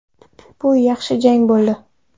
Bu yaxshi jang bo‘ldi.